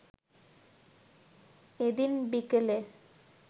এদিন বিকেলে